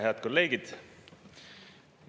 Head kolleegid!